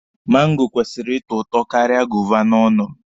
Mango kwesịrị ịtọ ụtọ karịa goova n'ọnụ m.